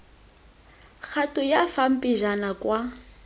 kgato ya fa pejana kwa